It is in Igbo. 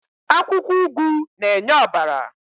Akwukwo ugu n'enye obara